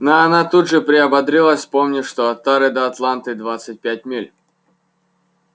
но она тут же приободрилась вспомнив что от тары до атланты двадцать пять миль